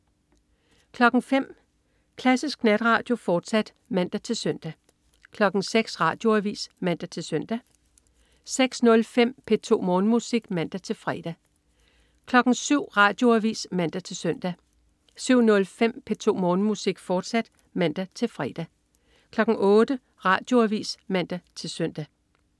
05.00 Klassisk Natradio, fortsat (man-søn) 06.00 Radioavis (man-søn) 06.05 P2 Morgenmusik (man-fre) 07.00 Radioavis (man-søn) 07.05 P2 Morgenmusik, fortsat (man-fre) 08.00 Radioavis (man-søn)